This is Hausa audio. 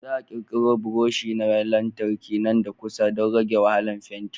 Za a ƙirƙiro buroshi na lantarki nan da kusa don rage wahalar fenti.